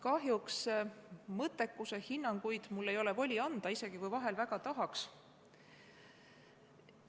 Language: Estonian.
Kahjuks ei ole mul mõttekuse kohta voli hinnanguid anda, isegi kui vahel väga tahaks.